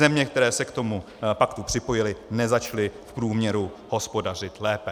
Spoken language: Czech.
Země, které se k tomu paktu připojily, nezačaly v průměru hospodařit lépe.